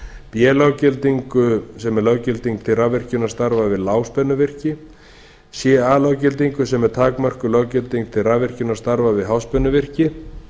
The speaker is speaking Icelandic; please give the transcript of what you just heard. b löggildingu sem er löggilding til rafvirkjunarstarfa við lágspennuvirki ca löggildingu sem er takmörkuð löggilding til rafvirkjunarstarfa við háspennuvirki